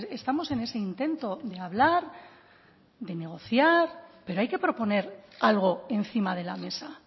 estamos en ese intento de hablar de negociar pero hay que proponer algo encima de la mesa